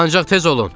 Ancaq tez olun!